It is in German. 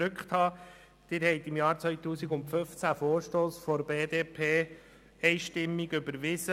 2015 haben Sie den Vorstoss 266-2014 der BDP einstimmig überwiesen.